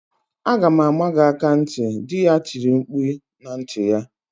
"Aga m ama gị aka ntị!" Dị ya tiri mkpu na ntị ya.